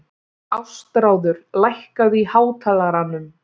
Ástráður, lækkaðu í hátalaranum.